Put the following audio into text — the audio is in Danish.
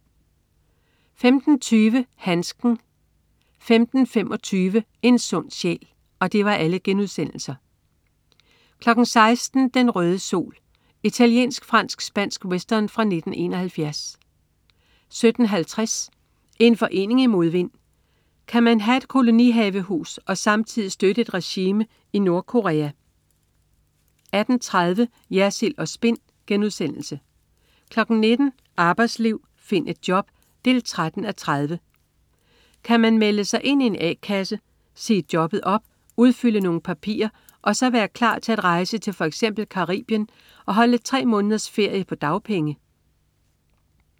15.20 Handsken* 15.25 En sund sjæl* 16.00 Den røde sol. Italiensk-fransk-spansk western fra 1971 17.50 En forening i modvind. Kan man have et kolonihavehus og samtidig støtte et regime i Nordkorea? 18.30 Jersild & Spin* 19.00 Arbejdsliv. Find et job! 13:30. Kan man melde sig ind i en a-kasse, sige jobbet op, udfylde nogle papirer og så være klar til at rejse til f.eks. Caribien og holde tre måneders ferie på dagpenge?